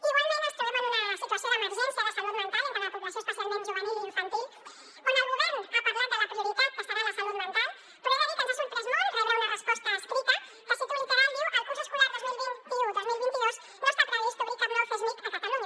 igualment ens trobem en una situació d’emergència de salut mental entre la població especialment juvenil i infantil on el govern ha parlat de la prioritat que serà la salut mental però he de dir que ens ha sorprès molt rebre una resposta escrita que cito literalment diu el curs escolar dos mil vint u dos mil vint dos no està previst obrir cap nou csmij a catalunya